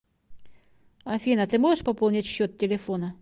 афина ты можешь пополнить счет телефона